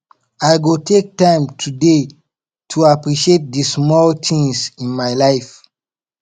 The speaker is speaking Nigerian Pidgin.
i go take time today to appreciate di small things in my life